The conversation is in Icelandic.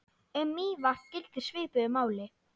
Um Mývatn gildir svipuðu máli.